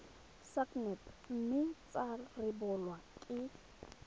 sacnap mme tsa rebolwa ke